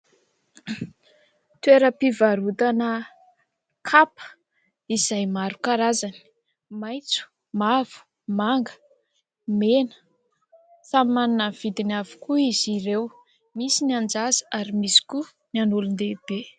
Toeram-pivarotana kapa izay maro karazany maitso, mavo, manga, mena. Samy manana ny vidiny avokoa izy ireo, misy ny an-jaza ary misy koa ny an'olon-dehibe.